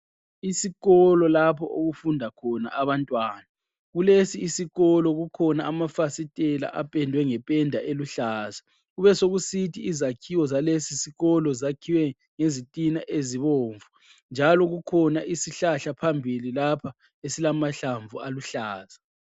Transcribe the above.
Isikolo lapho okufunda khona abantwana. Kulesi isikolo kukhona amafasitela apendwe ngependa eluhlaza. Kubesokusithi izakhiwo zalesi sikolo zakhiwe ngezitina ezibomvu njalo kukhona isihlahla phambili lapha esilamahlamvu aluhlaza.